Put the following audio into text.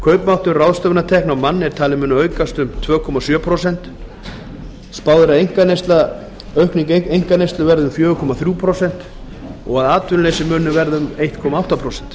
kaupmáttur ráðstöfunartekna á mann er talinn muni aukast um tvö komma sjö prósent spáð er að aukning einkaneyslu verði um fjóra komma þrjú prósent að atvinnuleysi muni verða eitt komma átta prósent